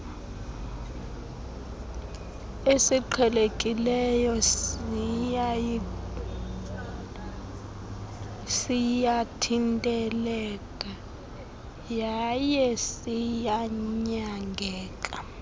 esiqhelekileyo siyathinteleka yayesiyanyangeka